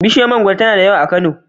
Bishiyar mangoro tana da yawa a Kano.